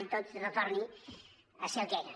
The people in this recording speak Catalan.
que tot retorni a ser el que era